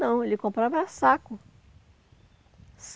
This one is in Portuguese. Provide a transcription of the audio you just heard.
Não, ele comprava saco.